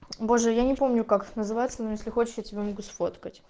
боже я не помню как называется но если хочешь я тебе могу сфоткать